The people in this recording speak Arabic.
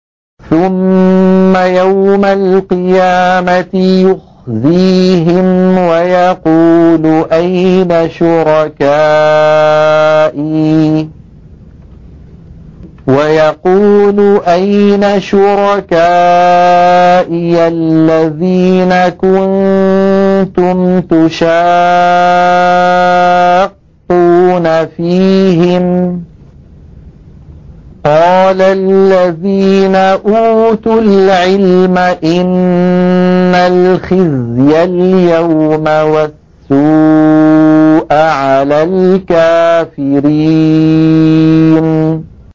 ثُمَّ يَوْمَ الْقِيَامَةِ يُخْزِيهِمْ وَيَقُولُ أَيْنَ شُرَكَائِيَ الَّذِينَ كُنتُمْ تُشَاقُّونَ فِيهِمْ ۚ قَالَ الَّذِينَ أُوتُوا الْعِلْمَ إِنَّ الْخِزْيَ الْيَوْمَ وَالسُّوءَ عَلَى الْكَافِرِينَ